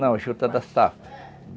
Não, a junta da safra.